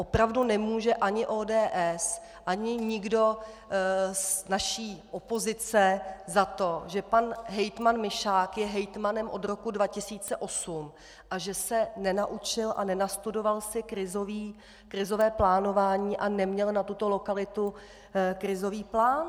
Opravdu nemůže ani ODS ani nikdo z naší opozice za to, že pan hejtman Mišák je hejtmanem od roku 2008 a že se nenaučil a nenastudoval si krizové plánování a neměl na tuto lokalitu krizový plán.